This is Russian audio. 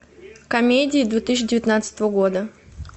комедии две тысячи девятнадцатого года